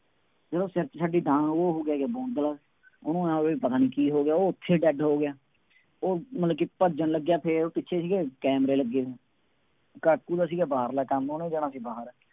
ਜਦੋਂ ਕਿਰਚ ਛੱਡੀ ਤਾਂ ਉਹ ਹੋ ਗਿਆ ਬੌਂਦਲ, ਉਹਨੂੰ ਆਂਏਂ ਹੋ ਗਿਆ ਬਈ ਪਤਾ ਨਹੀਂ ਕੀ ਹੋ ਗਿਆ, ਉਹ ਉੱਥੇ dead ਹੋ ਗਿਆ। ਉਹ ਮਤਲਬ ਕਿ ਭੱਜਣ ਲੱਗਿਆ ਫੇਰ ਉਹ ਪਿੱਛੇ ਸੀਗੇ ਕੈਮਰੇ ਲੱਗੇ, ਕਾਕੂ ਦਾ ਸੀਗਾ ਬਾਰਹਲਾ ਕੰੰਮ ਉਹਨੇ ਜਾਣਾ ਸੀ ਬਾਹਰ,